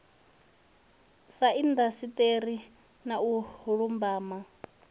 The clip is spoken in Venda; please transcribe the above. ya indasiṱeri na u lumbama